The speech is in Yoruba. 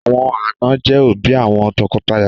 Àwọn àna je òbí àwọn tọkọtaya